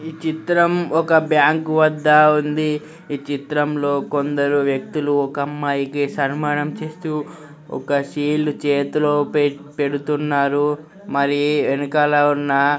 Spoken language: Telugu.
ఈ చిత్రం ఒక బ్యాంకు వద్ద ఉంది ఈ చిత్రం లో కొందరు వ్యక్తులు ఒక అమ్మాయికి సన్మానం చేస్తూ ఓక షీల్డ్ చేతిలో పే-పెడుతున్నారు మరి వెనకాల ఉన్న--